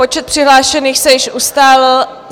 Počet přihlášených se již ustálil.